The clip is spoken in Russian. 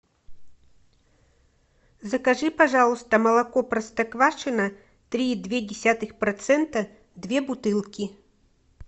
закажи пожалуйста молоко простоквашино три и две десятых процента две бутылки